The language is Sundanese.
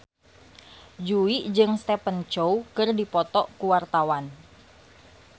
Jui jeung Stephen Chow keur dipoto ku wartawan